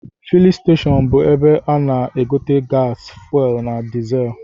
Filin steshọnụ bụ ebe a na-egote gasi, fuelu na dịzel